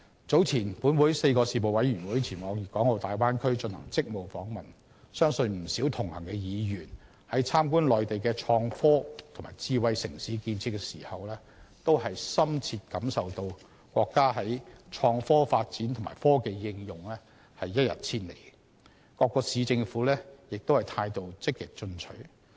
早前本會4個事務委員會前往粵港澳大灣區進行職務訪問，相信不少同行的議員在參觀內地的創科和智慧城市的建設時，均深切感受到國家的創科發展和科技應用一日千里，各市政府的態度積極進取。